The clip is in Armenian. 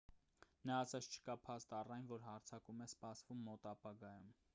նա ասաց չկա փաստ առ այն որ հարձակում է սպասվում մոտ ապագայում